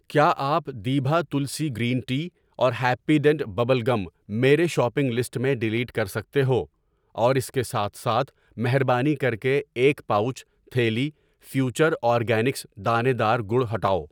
کیا آپ دیبھا تلسی گرین ٹی اور ہیپی ڈینٹ ببل گم میرے شاپنگ لسٹ میں ڈلیٹ کرِسکتے ہو ؟ اور اس کی سات سات مہربانی کر کے ایک پاؤچ, تھیلی فیوچر اورگینکس دانے دار گڑ ہٹاو